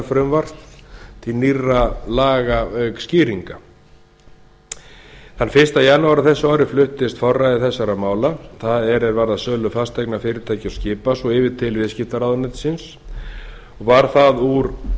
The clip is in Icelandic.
heildarfrumvarps til nýrra laga auk skýringa þann fyrsta janúar á þessu ári fluttist forræði þessa mála það er er varða sölu fasteigna fyrirtækja og skipa svo yfir til viðskiptaráðuneytisins og varð það úr að